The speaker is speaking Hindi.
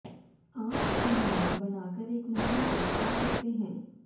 आप इन्हें बनाकर एक महीने तक खा सकते हैं